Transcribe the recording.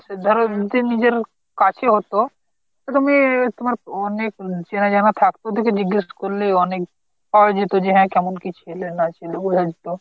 যদি কারোর নিজের কাছে হত একটা মেয়ে তোমার অনেক চেনা জানা থাকতো কিছু জিজ্ঞেস করলে অনেক পাওয়া যেত যে হ্যাঁ কেমন কি ছেলে না ছেলে বলে দিত।